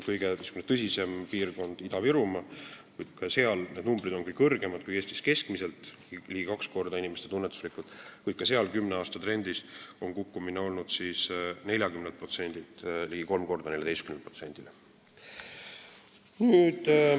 Kõige tõsisem piirkond on Ida-Virumaa, kus need numbrid, mis väljendavad inimeste tunnetust, on küll kõrgemad kui Eestis keskmiselt, ligi kaks korda, kuid ka seal on kümne aasta trend olnud kukkumine: 40% asemel on see ligi kolm korda väiksem, 14%.